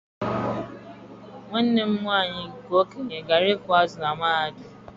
Nwanne m nwanyị nke okenye gụrụ ịkụ azụ̀ na mahadum.